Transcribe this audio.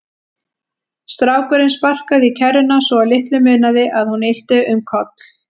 Strákurinn sparkaði í kerruna svo að litlu munaði að hún ylti um koll.